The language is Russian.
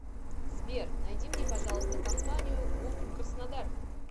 сбер найди мне пожалуйста компанию гук краснодар